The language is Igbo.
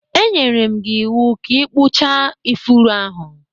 E nyere m gị iwu ka ị ikpucha ifuru ahụ!